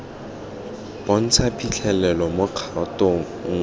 bontsha phitlhelelo mo kgatong nngwe